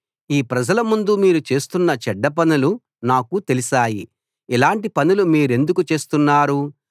ఈ ప్రజల ముందు మీరు చేస్తున్న చెడ్డ పనులు నాకు తెలిశాయి ఇలాటి పనులు మీరెందుకు చేస్తున్నారు